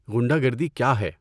غنڈہ گردی کیا ہے؟